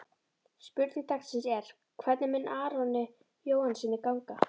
Spurning dagsins er: Hvernig mun Aroni Jóhannssyni ganga?